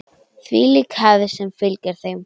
Þvílík hefð sem fylgir þeim.